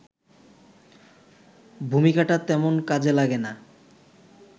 ভূমিকাটা তেমন কাজে লাগে না